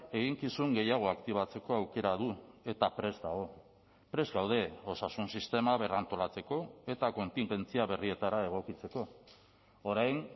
eginkizun gehiago aktibatzeko aukera du eta prest dago prest gaude osasun sistema berrantolatzeko eta kontingentzia berrietara egokitzeko orain